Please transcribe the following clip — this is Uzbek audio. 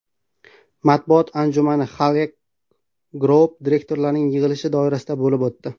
Matbuot anjumani Halyk Group direktoratining yig‘ilishi doirasida bo‘lib o‘tdi.